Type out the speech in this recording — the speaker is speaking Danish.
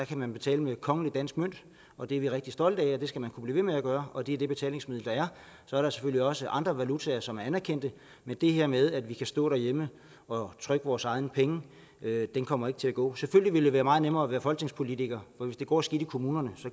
man betale med kongelig dansk mønt og det er vi rigtig stolte af og det skal man kunne blive ved med at gøre og det er det betalingsmiddel der er så er der selvfølgelig også andre valutaer som er anerkendt men det her med at vi kan stå derhjemme og trykke vores egne penge kommer ikke til at gå godt selvfølgelig ville det være meget nemmere at være folketingspolitiker for hvis det går skidt i kommunerne